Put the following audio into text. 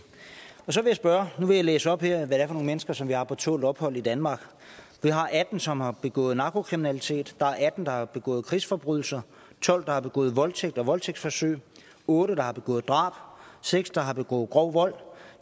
og nu vil læse op her hvad det er for nogle mennesker som vi har på tålt ophold i danmark vi har atten som har begået narkokriminalitet der er atten der har begået krigsforbrydelser tolv der har begået voldtægt og voldtægtsforsøg otte der har begået drab seks der har begået grov vold